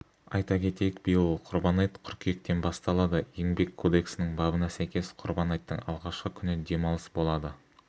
айта кетейік биыл құрбан айт қыркүйектен басталады еңбек кодексінің бабына сәйкес құрбан айттың алғашқы күні демалысболады